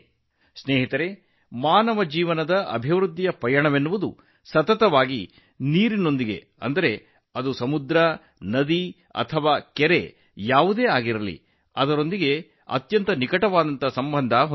ಸ್ನೇಹಿತರೇ ಮಾನವ ಜೀವನದ ವಿಕಾಸದ ಪ್ರಯಾಣವು ನಿರಂತರವಾಗಿ ನೀರಿನೊಂದಿಗೆ ಸಂಪರ್ಕ ಹೊಂದಿದೆ ಅದು ಸಮುದ್ರಗಳಾಗಿರಬಹುದು ನದಿ ಅಥವಾ ಕೆರೆಕಟ್ಟೆಗಳಾಗಿರಬಹುದು